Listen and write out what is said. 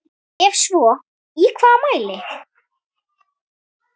Ef svo í hvaða mæli?